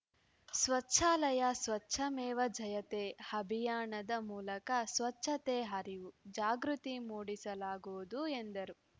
ಸ್ವಚ್ಛಾಲಯ ಸ್ವಚ್ಛಮೇವ ಜಯತೇ ಅಭಿಯಾನದ ಮೂಲಕ ಸ್ವಚ್ಛತೆ ಅರಿವು ಜಾಗೃತಿ ಮೂಡಿಸಲಾಗುವುದು ಎಂದರು